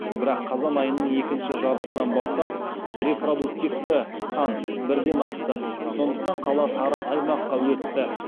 бірақ қазан айының екінші жартысынан бастап репродуктивті сан бірден асты сондықтан қала сары аймаққа өтті